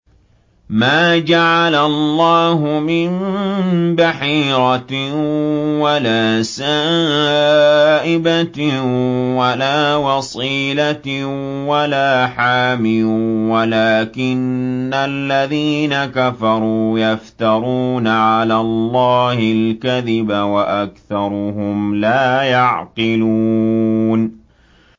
مَا جَعَلَ اللَّهُ مِن بَحِيرَةٍ وَلَا سَائِبَةٍ وَلَا وَصِيلَةٍ وَلَا حَامٍ ۙ وَلَٰكِنَّ الَّذِينَ كَفَرُوا يَفْتَرُونَ عَلَى اللَّهِ الْكَذِبَ ۖ وَأَكْثَرُهُمْ لَا يَعْقِلُونَ